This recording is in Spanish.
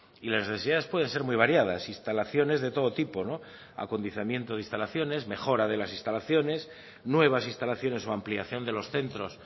y las necesidades pueden ser muy variadas instalaciones de todo tipo acondicionamiento de instalaciones mejora de las instalaciones nuevas instalaciones o ampliación de los centros